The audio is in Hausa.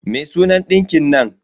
Me sunan ɗinkin nan?